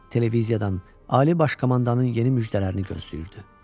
Televiziyadan ali baş komandanın yeni müjdələrini gözləyirdi.